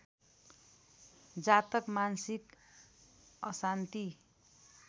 जातक मानसिक अशान्ति